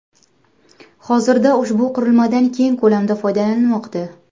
Hozirda ushbu qurilmadan keng ko‘lamda foydalanilmoqda.